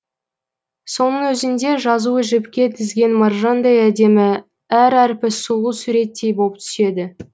соның өзінде жазуы жіпке тізген маржандай әдемі әр әрпі сұлу суреттей боп түседі